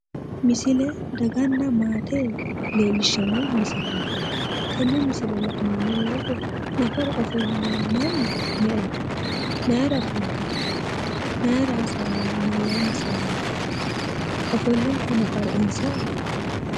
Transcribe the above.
Misile daganna maate leellishshanno misileeti. Tenne misile la'neemmo woyite nafara ofolle noohu mannu me"eho? Mayira ofolle no? Mayira hasaawayi no? Mayyaanni hasaawayi no? Ofolle noo nafari insaho?